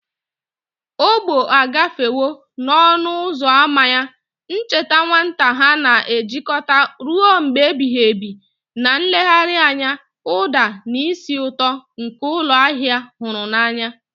Ọgbọ agafewo n'ọnụ ụzọ ámá ya, ncheta nwata ha na-ejikọta ruo mgbe ebighị ebi na nlegharị anya, ụda, na ísì ụtọ nke ụlọ ahịa a hụrụ n'anya.